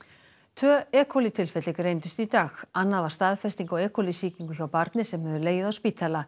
tvö e tilfelli greindust í dag annað var staðfesting á e coli sýkingu hjá barni sem hefur legið á spítala